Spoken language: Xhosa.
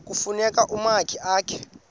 kufuna umakhi akhe